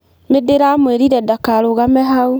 Nĩndĩramwĩrire ndakarũgame hau.